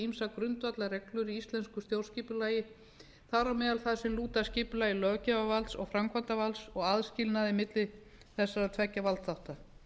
ýmsar grundvallarreglur í íslensku stjórnskipulagi þar á meðal þær sem lúta að skipulagi löggjafarvalds og framkvæmdarvalds og aðskilnaði milli þessara tveggja valdþátta